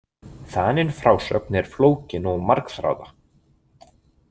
Þanin frásögn er flókin og margþráða.